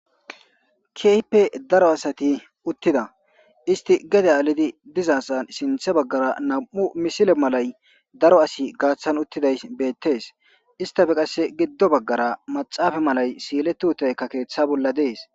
kiype daro asati uttida isti gede aalidi dizaasan sinthe baggara nam7u misile malay daro asi gaaththan uttiday beettees istafe qasse giddo baggara maxaafa malay siiletu hutaykka keeththa bolla dees